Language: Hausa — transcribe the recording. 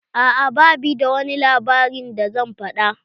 A'a ba bi da wani labarin da zan faɗa.